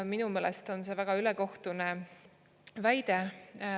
Minu meelest on see väga ülekohtune väide.